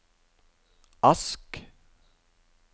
Ask